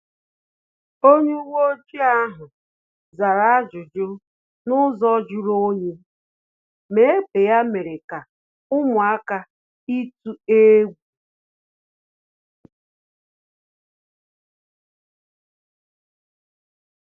Onye uweojii ahu zara ajụjụ n’ụzọ juru onyi, ma egbe ya mere ka ụmụaka ituu egwu